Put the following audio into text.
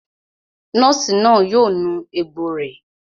Nọ́ọ̀sì náà yóò nu egbò rẹ̀